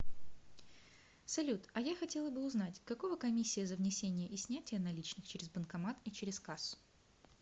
салют а я хотела бы узнать какого комиссия за внесение и снятие наличных через банкомат и через кассу